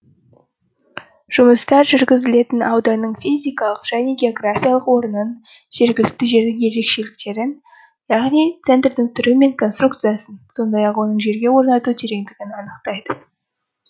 жұмыстар жүргізілетін ауданның физикалық және географиялық орнын жергілікті жердің ерекшеліктерін яғни центрдің түрі мен конструкциясын сондай ақ оның жерге орнату терендігін анықтайды